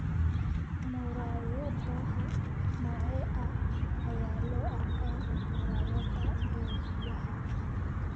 Muraayadaha noocee ah ayaa loo arkaa muraayadaha duuliyaha?